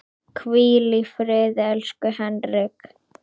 Hvíl í friði, elsku Henrik.